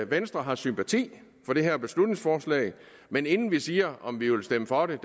venstre har sympati for det her beslutningsforslag men inden vi siger om vi vil stemme for det